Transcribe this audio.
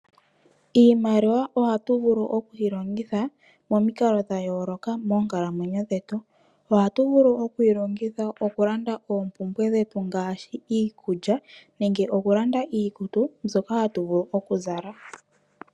Iimaliwa oha tuvulu okwii longitha momikalo dhayoloka moonkalamwenyo dhetu. Oha tuvulu okwii longitha okulanda oompumbwe dhetu ngaashi iikulya nenge oku landa iikutu nzoka hatu vulu okuzala.